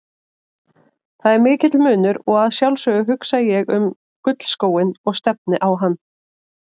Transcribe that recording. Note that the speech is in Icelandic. Það er mikill munur og að sjálfsögðu hugsa ég um gullskóinn og stefni á hann.